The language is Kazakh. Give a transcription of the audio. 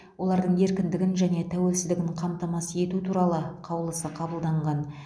олардың еркіндігін және тәуелсіздігін қамтамасыз ету туралы қаулысы қабылданаған